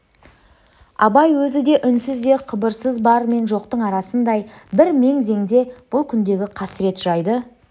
абай өзі де үнсіз де қыбырсыз бар мен жоқтың арасындай бір мең-зеңде бұл күндегі қасірет жайды